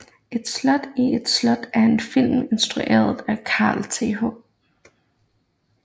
Et slot i et slot er en film instrueret af Carl Th